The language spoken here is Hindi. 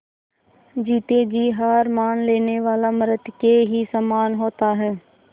जीते जी हार मान लेने वाला मृत के ही समान होता है